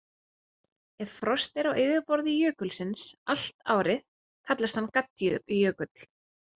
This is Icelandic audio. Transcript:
Ef frost er á yfirborði jökulsins allt árið kallast hann gaddjökull.